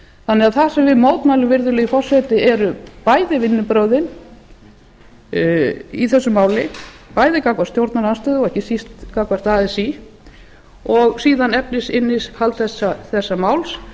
breytingartillögu það sem við mótmælum virðulegi forseti eru bæði vinnubrögðin í þessu máli bæði gagnvart stjórnarandstöðu og ekki síst gagnvart así og síðan efnisinnihald þessa máls